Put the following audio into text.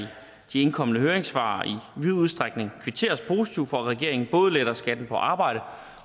de indkomne høringssvar i vid udstrækning kvitteres positivt for at regeringen både letter skatten på arbejde